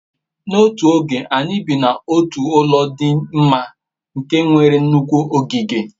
n'otu oge, anyi bi n'otu ulo di mma nke nwere nnukwu ogige